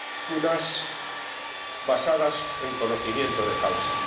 unas, basadas en conocimiento de causa